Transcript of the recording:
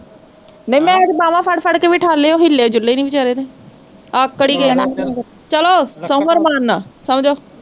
ਨਹੀਂ ਵਿੱਚ ਤਾਂ ਬਾਹਾਂ ਫੜ ਫੜ ਕੇ ਵੀ ਠਾਲੇ ਉਹ ਹਿਲੇ ਡੁੱਲੇ ਨੀ ਵਿਚਾਰੇ ਕਿ ਤੇ ਚਲੋ ਸੋਵੋ ਅਰਮਾਨ ਨਾਲ਼ ਸੋਜੋ